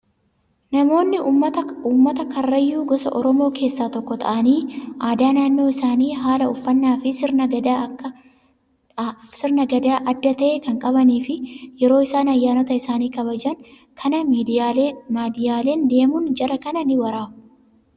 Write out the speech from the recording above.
Namoonni uummata karrayyuu gosa oromoo keessaa tokko ta'anii aadaa naannoo isaanii haala uffannaa fi sirna gadaa adda ta'e kan qabanii fi yeroo isaan ayyaanota isaanii kabajan kana miidiyaaleen deemuun jara kana ni waraabu.